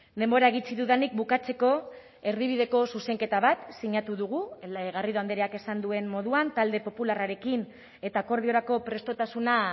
denbora gutxi dudanik bukatzeko erdibideko zuzenketa bat sinatu dugu garrido andreak esan duen moduan talde popularrarekin eta akordiorako prestutasuna